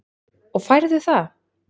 Og færðu það?